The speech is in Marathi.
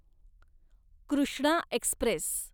कृष्णा एक्स्प्रेस